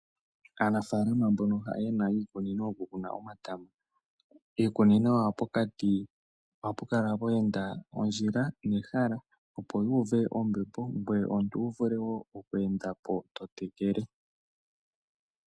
Aanafalama mbono yena iikunino yoku kuna omatama. Iikunino yawo pokati ohapu kala pweenda ondjila nehala opo yuve ombepo ngoye omuntu wu vule wo oku endapo to tekele .